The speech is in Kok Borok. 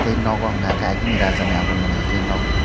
tei nogo hwnka hwnkhe agini raja ni amolni haike nog.